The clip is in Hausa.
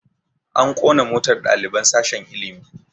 A ƙona motar ɗaliban sashen ilimi